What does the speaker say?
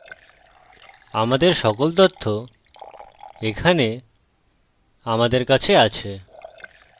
আমাদের সকল তথ্য এখানে আমাদের কাছে আছে